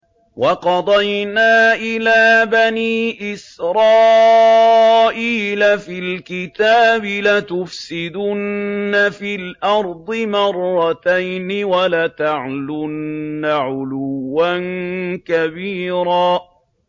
وَقَضَيْنَا إِلَىٰ بَنِي إِسْرَائِيلَ فِي الْكِتَابِ لَتُفْسِدُنَّ فِي الْأَرْضِ مَرَّتَيْنِ وَلَتَعْلُنَّ عُلُوًّا كَبِيرًا